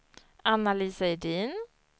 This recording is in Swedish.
Anna-Lisa Edin